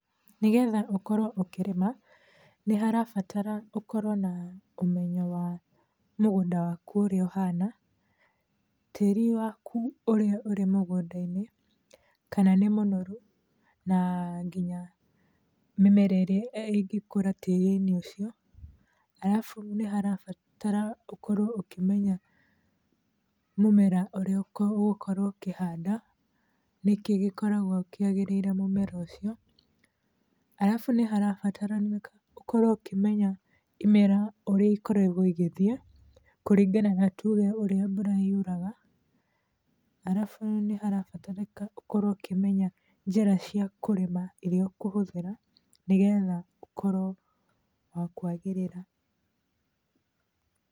Nĩgetha ũkorwo ũkĩrĩma, nĩ harabatara ũkorwo na ũmenyo wa mũgũnda wakũ ũrĩa ũhana, tĩĩri wakũ ũrĩa ũrĩ mũgũnda-inĩ, kana nĩ mũnoru na nginya mĩmera ĩrĩa ĩngĩkũra tĩĩri-inĩ ũcio. Arabu, nĩ harabata ũkorwo ũkĩmenya mũmera ũrĩa ũgũkorwo ũkĩhanda, nĩkĩ gĩkoragwo kĩagĩrĩire mũmera ũcio. Arabu, nĩ harabataranĩka ũkorwo ũkĩmenya imera ũrĩa ikoragwo igĩthiĩ, kũringana na tuge ũrĩa mbũra yũraga. Arabu, nĩ harabatarĩka ũkorwo ũkĩmenya njĩra cia kũrĩma irĩa ũkũhũthĩra, nĩgetha ũkorwo wa kwagĩrĩra.